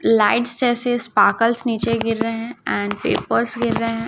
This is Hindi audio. लाइट्स जैसे स्पार्कल्स नीचे गिर रहे हैं एंड पेपर्स गिर रहे हैं।